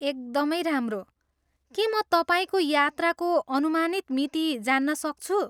एकदमै राम्रो! के म तपाईँको यात्राको अनुमानित मिति जान्न सक्छु?